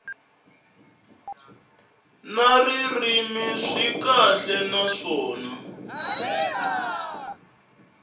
na ririmi swi kahle naswona